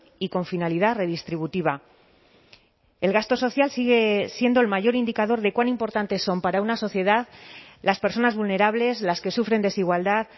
y con finalidad redistributiva el gasto social sigue siendo el mayor indicador de cuán importantes son para una sociedad las personas vulnerables las que sufren desigualdad